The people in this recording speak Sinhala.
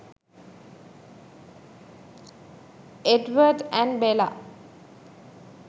edward and bela